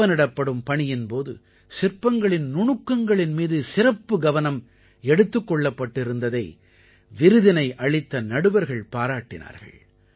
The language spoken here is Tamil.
செப்பனிடப்படும் பணியின் போது சிற்பங்களின் நுணுக்கங்களின் மீது சிறப்பு கவனம் எடுத்துக் கொள்ளப்பட்டிருந்ததை விருதினை அளித்த நடுவர்கள் பாராட்டினார்கள்